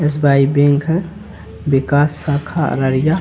SBI. Bank के विकास शाखा अररिया।